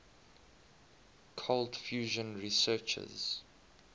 cold fusion researchers